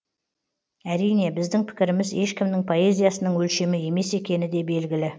әрине біздің пікіріміз ешкімнің поэзиясының өлшемі емес екені де белгілі